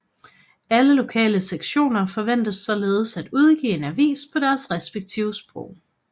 Alle lokale sektioner forventes således at udgive en avis på deres respektive sprog